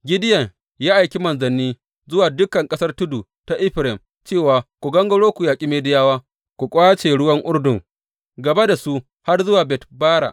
Gideyon ya aiki manzanni zuwa dukan ƙasar tudu ta Efraim cewa, Ku gangaro ku yaƙi Midiyawa ku ƙwace ruwan Urdun gaba da su har zuwa Bet Bara.